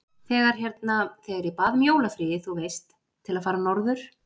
Þegar hérna. þegar ég bað um jólafríið, þú veist. til að fara norður.